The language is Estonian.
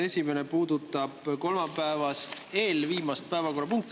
Esimene puudutab kolmapäeva eelviimast päevakorrapunkti.